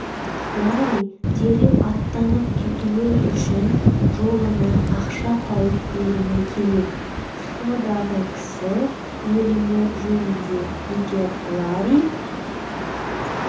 ларри дереу аттанып кетуі үшін жолына ақша тауып беруі керек сходағы кісі өлімі жөнінде егер ларри